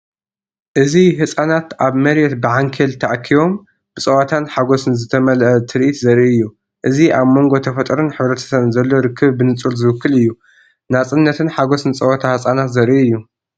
እዚ ህጻናት ኣብ መሬት ብዓንኬል ተኣኪቦም፡ ብጸወታን ሓጎስን ዝተመልአ ትርኢት ዘርኢ እዩ። እዚ ኣብ መንጎ ተፈጥሮን ሕብረተሰብን ዘሎ ርክብ ብንጹር ዝውክል እዩ፤ ናጽነትን ሓጎስን ጸወታ ህጻናት ዘርኢ እዩ።